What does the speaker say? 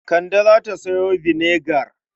Kande za ta sayo vinegar.